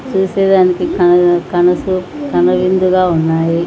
చూసేదానికి కను-- కనుసుపు కనువిందుగా ఉన్నాయి.